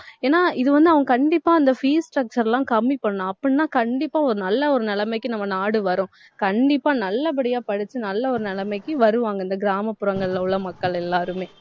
ஏன்னா இது வந்து அவங்க கண்டிப்பா அந்த fees structure எல்லாம் கம்மி பண்ணனும். அப்டின்னா கண்டிப்பா ஒரு நல்ல ஒரு நிலைமைக்கு நம்ம நாடு வரும். கண்டிப்பா நல்லபடியா படிச்சு நல்ல ஒரு நிலைமைக்கு வருவாங்க. இந்த கிராமப்புறங்கள்ல உள்ள மக்கள் எல்லாருமே